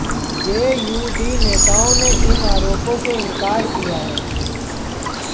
JuD नेताओं ने इन आरोपों से इनकार किया है